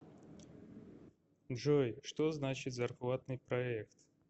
джой что значит зарплатный проект